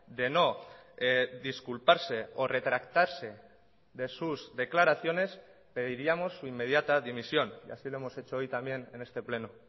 de no disculparse o retractarse de sus declaraciones pediríamos su inmediata dimisión y así lo hemos hecho hoy también en este pleno